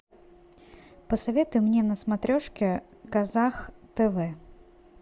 посоветуй мне на смотрешке казах тв